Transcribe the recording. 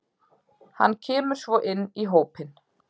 Hnn kemur svo inn í hópinn.